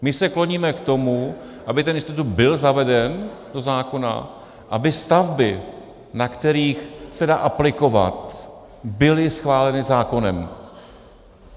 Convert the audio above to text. My se kloníme k tomu, aby ten institut byl zaveden do zákona, aby stavby, na kterých se dá aplikovat, byly schváleny zákonem.